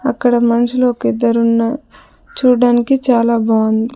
అక్కడ మనుషులొ కిద్దరున్నా చూడ్డానికి చాలా బావుంది.